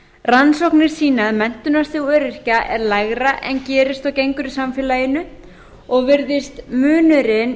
rannsóknir sýna að menntunarstig öryrkja er lægra en gerist og gengur í samfélaginu og virðist munurinn